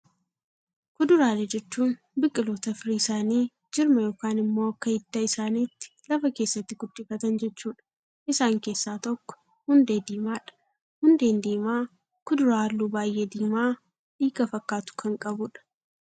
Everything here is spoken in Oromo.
Kuduraalee jechuun biqiloota firii isaanii jirma yookaan immoo akka hidda isaaniitti lafa keessatti guddifatan jechuudha. Isaan keessaa tokko hundee diimaadha. Hundeen diimaa kuduraa halluu baayyee diimaa, dhiiga fakkaatu kan qabudha.